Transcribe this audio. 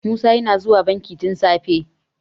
musa yana zuwa banki tun safe